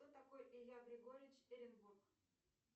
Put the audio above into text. кто такой илья григорьевич эренбург